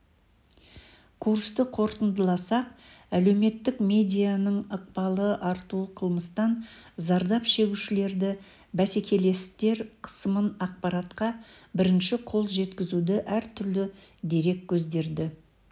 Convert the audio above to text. курсты қорытындыласақ әлеуметтік медианың ықпалы артуы қылмыстан зардап шегушілерді бәсекелестер қысымын ақпаратқа бірінші қол жеткізуді әртүрлі дереккөздерді